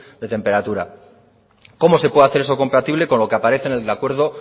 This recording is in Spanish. de temperatura cómo se puede hacer eso compatible con lo que aparece en el acuerdo